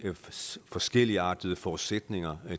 forskelligartede forudsætninger